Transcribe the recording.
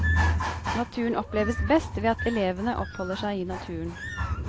Naturen oppleves best ved at elevene oppholder seg i naturen.